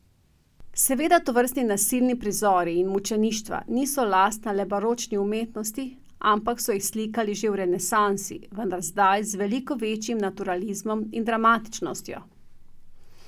Seveda tovrstni nasilni prizori in mučeništva niso lastna le baročni umetnosti, ampak so jih slikali že v renesansi, vendar zdaj z veliko večjim naturalizmom in dramatičnostjo.